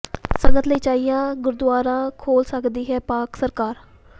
ਸੰਗਤ ਲਈ ਚੌਇਆ ਗੁਰੂਦੁਆਰਾ ਖੋਲ੍ਹ ਸਕਦੀ ਹੈ ਪਾਕਿ ਸਰਕਾਰ